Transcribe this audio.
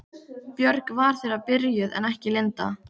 Björg var þegar byrjuð en ekki Linda.